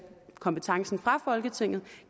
kompetencen fra folketinget